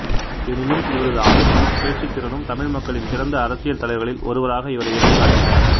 எனினும் இவரது ஆளுமையும் பேச்சுத் திறனும் தமிழ் மக்களின் சிறந்த அரசியல் தலைவர்களில் ஒருவராக இவரை இனம்காட்டின